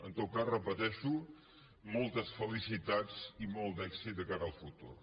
en tot cas ho repeteixo moltes felicitats i molt d’èxit de cara al futur